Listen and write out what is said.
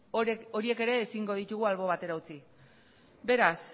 horiek ere ezingo ditugu albo batera utzi beraz